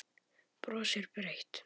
Brosir breitt.